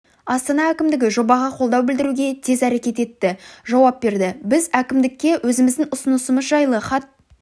астана әкімдігі жобаға қолдау білдіруге тез әрекет етті жауап берді біз әкімдікке өзіміздің ұсынысымыз жайлы хат